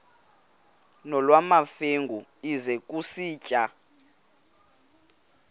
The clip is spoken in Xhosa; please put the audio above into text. nolwamamfengu ize kusitiya